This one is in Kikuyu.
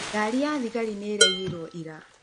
Ngari ya thigari nĩ ĩraiyirũo ira.